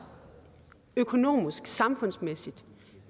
økonomisk og samfundsmæssigt